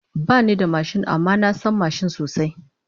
Bani da mashin amma na san mashin sosai